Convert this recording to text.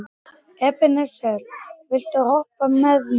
Ebeneser, viltu hoppa með mér?